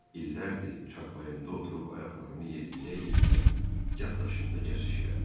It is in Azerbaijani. İllərdir çarpayımda oturub ayaqlarımı yelləyə-yelləyə yaddaşımda gəzişirəm.